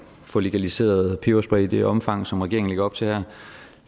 få legaliseret peberspray i det omfang som regeringen lægger op til her